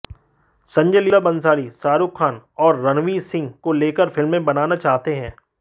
संजय लीला भंसाली शाहरूख खान और रणवीर सिंह को लेकर फिल्में बनाना चाहते हैं